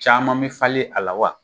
Caman bɛ falen a la wa ?